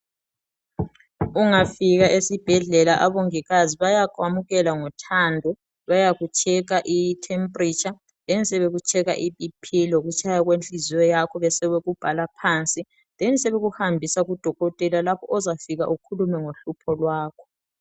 ungafika esibhedlela abomongikazi bayakuyamukela ngothando bayaku tshekha i thepheletsha, bekutshekhe i bhiphi lokutshaya kwenhliziyo yakho besebeku bhala phansi bebesebeku hambisa ku dokotela lapho ozafika ukhulume ngohlupho lwakho.